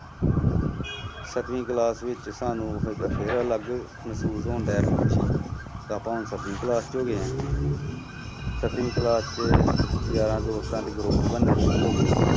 ਸੱਤਵੀਂ class ਵਿੱਚ ਸਾਨੂੰ ਫਿ~ ਫਿਰ ਅਲੱਗ ਮਹਿਸੂਸ ਹੋ ਰਿਹਾ ਸੀ ਖ਼ੁਸ਼ੀ ਆਪਾਂ ਹੁਣ ਸੱਤਵੀਂ class 'ਚ ਹੋ ਗਏ ਹਾਂ ਸੱਤਵੀਂ class 'ਚ ਯਾਰਾਂ ਦੋਸਤਾਂ ਦੇ group ਬਣਨੇ ਸ਼ੁਰੂ ਹੋ ਗਏ